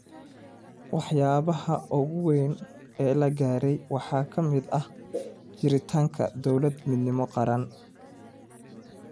Waxyaabaha ugu waaweyn ee la gaaray waxaa ka mid ah jiritaanka Dowlad-Midnimo Qaran.